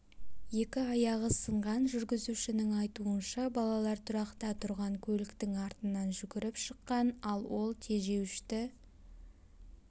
екі аяғы сынған жүргізушінің айтуынша балалар тұрақта тұрған көліктің артынан жүгіріп шыққан ал ол тежеуішті